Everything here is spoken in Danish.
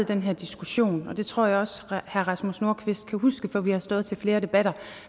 den her diskussion og det tror jeg også herre rasmus nordqvist kan huske for vi har stået i flere debatter